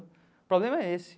O problema é esse.